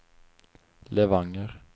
Levanger